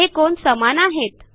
हे कोन समान आहेत